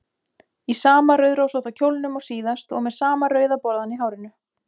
Í sama rauðrósótta kjólnum og síðast og með sama rauða borðann í hárinu.